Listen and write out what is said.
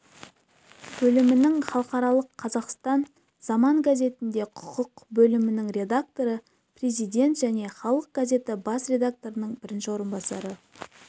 бөлімінің халықаралық қазақстан заман газетінде құқық бөлімінің редакторы президент және халық газеті бас редакторының бірінші орынбасары